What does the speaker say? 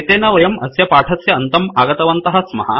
एतेन वयं अस्य पाठस्य अन्तम् आगतवन्तः स्मः